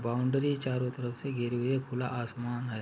Boundary चारों तरफ से घिरी हुई हैखुला आसमान है।